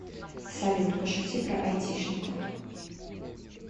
салют пошути про айтишников